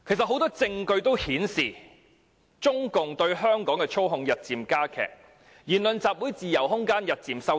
很多證據顯示，中共其實日漸加強對香港的操控，香港人的言論和集會自由空間也日漸收窄。